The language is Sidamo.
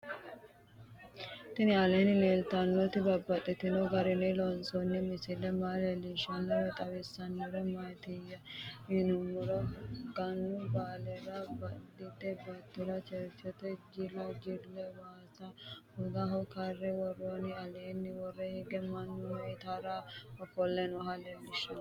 Tinni aleenni leelittannotti babaxxittinno garinni loonsoonni misile maa leelishshanno woy xawisannori maattiya yinummoro gannu baalera baadiyeette baattora cherichete jilla jille waassa hogaho karre woroonni alenna woroonni higge mannu ittara offolle noohu leelanno